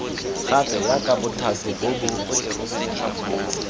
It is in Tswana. gape jaaka bothati bo bo